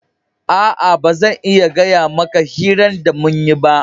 Aa, ba zan iya gaya maka hiran da mun yi ba.